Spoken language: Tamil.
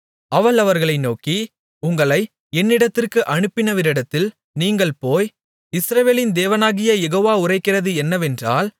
அவள் அவர்களை நோக்கி உங்களை என்னிடத்திற்கு அனுப்பினவரிடத்தில் நீங்கள் போய் இஸ்ரவேலின் தேவனாகிய யெகோவ உரைக்கிறது என்னவென்றால்